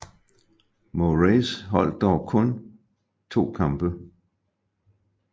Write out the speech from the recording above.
Morace holdt dog kun to kampe